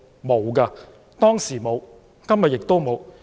沒有，當時沒有，今天亦沒有。